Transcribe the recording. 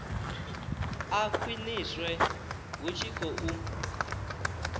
a khwiniswe hu tshi khou